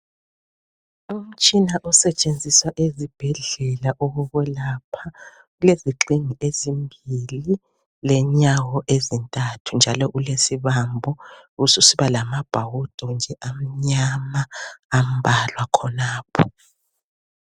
Umtshina osetshenziswa ezibhedlela okokwelapha ulezigxingi ezimbili, lenyawo ezintathu njalo ulesibambo ubususiba lamabhawudo nje amnyama ambalwa khonapho.